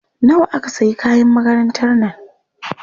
Nawa aka sayi kayan makarantar nan?